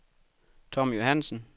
Tom Johansen